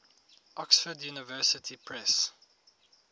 oxford university press